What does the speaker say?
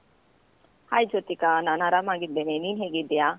Hai Jyothika, ನಾನ್ ಆರಾಮಾಗಿದ್ದೇನೆ, ನೀನ್ ಹೇಗಿದ್ದೀಯಾ?